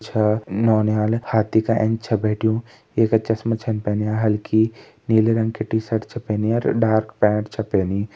छ नौनियाल हाथी क ऐंच बैठयूं येका चस्मा छिन पैनिया हलकी नीले रंग की टी-शर्ट च पेनी और डार्क पेण्ट च पेनी।